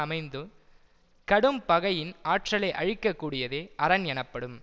அமைந்து கடும் பகையின் ஆற்றலை அழிக்க கூடியதே அரண் எனப்படும்